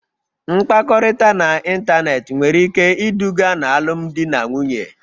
Mkpakọrịta n'ịntanetị nwere ike iduga n'alụmdi na nwunye